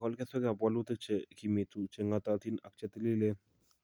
igol keswekap walutik che kimitu, che ng'ootatin ak che tiliileen,